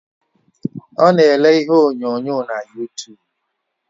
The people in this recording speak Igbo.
Ọ na ele ihe onyonyo na yutub